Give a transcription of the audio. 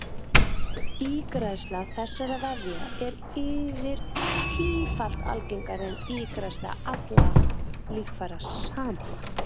Ígræðsla þessara vefja er yfir tífalt algengari en ígræðsla allra líffæra samanlagt.